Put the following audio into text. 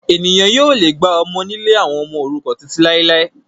Ènìyàn yóò le gba ọmọ nílé àwọn ọmọ òrukàn títí làilái